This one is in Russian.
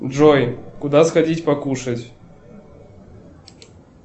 джой куда сходить покушать